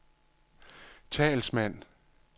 talsmand